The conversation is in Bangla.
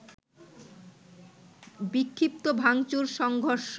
বিক্ষিপ্ত ভাঙচুর, সংঘর্ষ